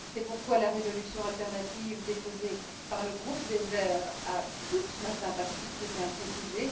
C'est pourquoi la résolution alternative déposée par le groupe des Verts a toute ma sympathie, je tiens à le préciser.